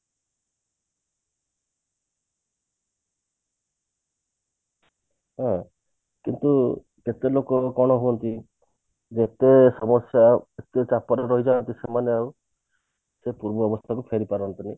ହଁ କିନ୍ତୁ କେତେ ଲୋକ କଣ ହୁଅନ୍ତି ଯେତେ ସମସ୍ଯା ଏତେ କାତର ହେଇ ଯାନ୍ତି ସେମାନେ ଆଉ ସେ ପୂର୍ବ ଅବସ୍ଥା କୁ ଫେରି ପାରନ୍ତି ନି